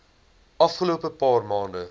afgelope paar maande